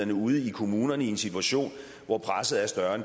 er ude i kommunerne i en situation hvor presset er større